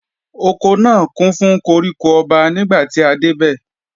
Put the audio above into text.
Oko náà kún fún koríko ọba nígbàtí a dé bẹ̀